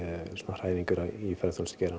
hræringar í